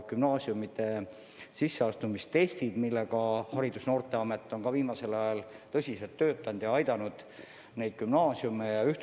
Gümnaasiumide sisseastumistestide kallal on Haridus- ja Noorteamet viimasel ajal tõsiselt töötanud ja sellega gümnaasiume aidanud.